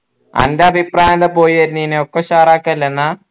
അൻ്റെ അഭിപ്രായമെന്താ പോയി വരുന്നേൻ ഒക്കെ ഉഷാറാക്കല്ലേ എന്നാ